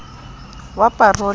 wa parole o ne o